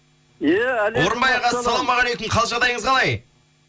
иә орынбай аға ассалаумағалейкум қал жағдайыңыз қалай